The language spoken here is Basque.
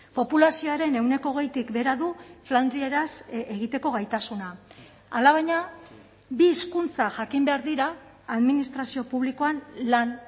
populazioaren ehuneko hogeitik behera du flandrieraz egiteko gaitasuna alabaina bi hizkuntza jakin behar dira administrazio publikoan lan